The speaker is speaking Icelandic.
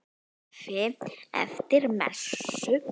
Kaffi eftir messu.